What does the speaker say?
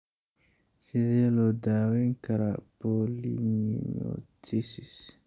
Sidee loo daweyn karaa polymyositis?